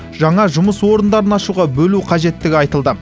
жаңа жұмыс орындарын ашуға бөлу қажеттігі айтылды